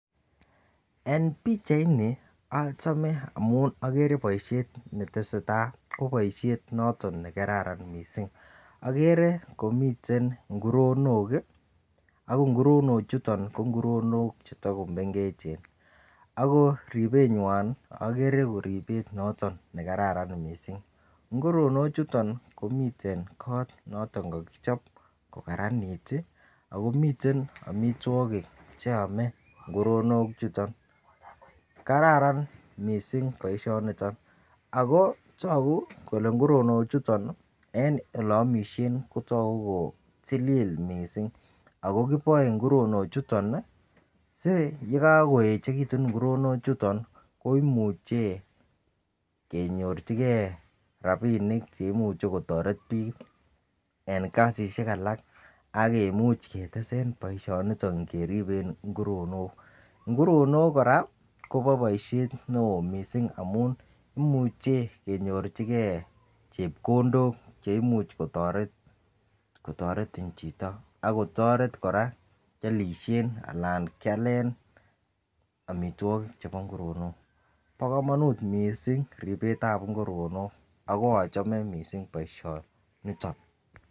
En pichaini ochome amun okere boishet netesetai ko boishet noton nekararan missing okere komiten nguronok kii ak nguronok chuto ko nguronok chetokomengechen ako ribenywa okere ko ribet noton nekara kot missing. Inguronik chuton komiten kot noton kokichop ko kararanit tii ako miten omitwokik cheome inguronik chuton. Kararan missing boishoniton ako toku kole nguronok chuton en ole omishen kotoku ko tilil missing ako kiboe nguronok chuton nii sii yekokoyechekitun nguronok chuton ko imuche kenyorchigee ranibinik cheimuche kotoret bik en kasishek alak ak kimuche ketesen boishoniton keriben nguronok. Nguronok Koraa Kobo boishet neo missing amun imuche kenyorchigee chepkondok cheimuch kotoret kotoretin chito ak kotoret Koraa kiolishen anan kialen omitwokik chebo nguronok. Bo komonut missing ribetab nguronok ak ochome missing boishoniton.